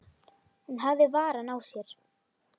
Hún hafði varann á sér.